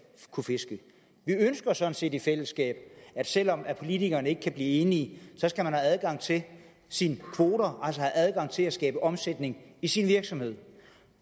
kunne fiske vi ønsker sådan set i fællesskab at selv om politikerne ikke kan blive enige skal man have adgang til sine kvoter altså adgang til at skabe omsætning i sin virksomhed